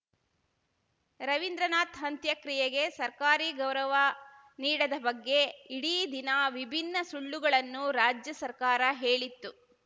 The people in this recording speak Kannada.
ರವಿಂದ್ರನಾಥ್‌ ಅಂತ್ಯಕ್ರಿಯೆಗೆ ಸರ್ಕಾರಿ ಗೌರವ ನೀಡದ ಬಗ್ಗೆ ಇಡೀ ದಿನ ವಿಭಿನ್ನ ಸುಳ್ಳುಗಳನ್ನು ರಾಜ್ಯ ಸರ್ಕಾರ ಹೇಳಿತ್ತು